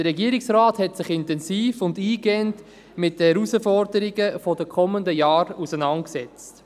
Der Regierungsrat hat sich intensiv und eingehend mit den Herausforderungen der kommenden Jahre auseinandergesetzt.